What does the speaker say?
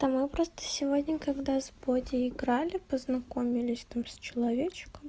да мы просто сегодня когда с боди играли познакомились там с человечком